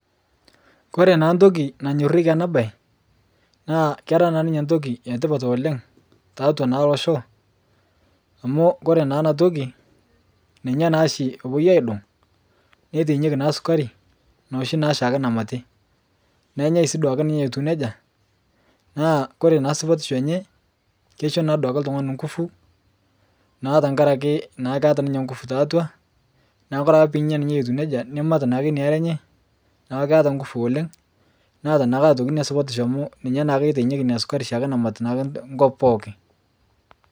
kore naa ntoki nanyorieki ana bai naa kera naa ninye ntoki etipat oleng taatua naa loshoo amu kore naa anaa toki ninye naashi epuoi aidong neitainyeki naa sukari noshi naa shaake namati nenyai sii duake ninye etuu nejaa naa kore naa supatisho enye keisho naaduke ltungani nguvu naa tankarake keata ninye nguvu tatua naaku kore ake piinya ninye etuu neja nimat naake inia aree enye naaku keata nguvu oleng neata naa otoki ake inia supatisho amu ninye naake eitainyeki inia sukari namat nkop pooki